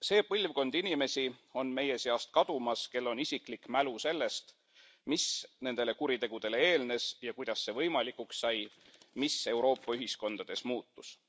See põlvkond inimesi on meie seast kadumas, kel on isiklik mälestus sellest, mis nendele kuritegudele eelnes ja kuidas see võimalikuks sai, mis Euroopa ühiskondades muutus.